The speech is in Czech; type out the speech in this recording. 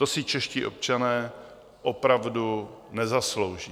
To si čeští občané opravdu nezaslouží.